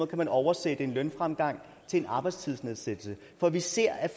kan oversætte en lønfremgang til en arbejdstidsnedsættelse for vi ser at